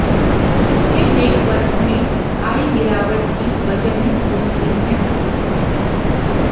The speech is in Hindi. इसके नेटवर्थ में आई गिरावट की वजहें दूसरी हैं